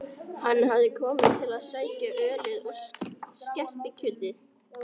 Hann hafði skroppið til að sækja ölið og skerpikjötið.